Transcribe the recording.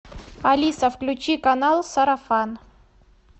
алиса включи канал сарафан